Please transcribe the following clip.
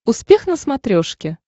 успех на смотрешке